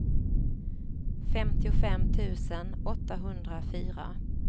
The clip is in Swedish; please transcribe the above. femtiofem tusen åttahundrafyra